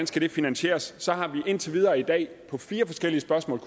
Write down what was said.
skal finansieres så har vi indtil videre i dag på fire forskellige spørgsmål